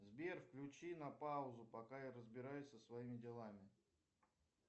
сбер включи на паузу пока я разбираюсь со своими делами